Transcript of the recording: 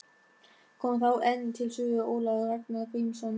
Kom þá enn til sögu Ólafur Ragnar Grímsson.